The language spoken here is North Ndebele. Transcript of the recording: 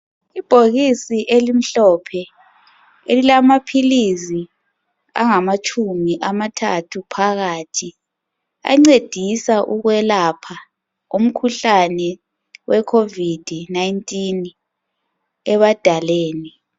ibhokisi elimhlophe emilamaphilizi angaatshumi amathathu phakathi ancedisa ukwelapha umkhuhlane we COVID 19 ebadaleni